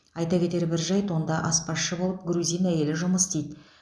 айта кетер бір жайт онда аспазшы болып грузин әйелі жұмысы істейді